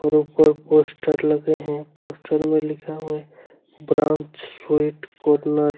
और उपर पोस्टर लगे हैं पोस्टर में लिखा हुआ है ब्रांच स्वीट कॉर्नर --